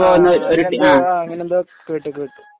ആ ആ ഞാൻ അങ്ങനെ എന്തോ കേട്ടു കേട്ടു